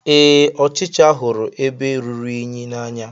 Ee, ọchịcha hụrụ ebe rụrụ unyi n'anya.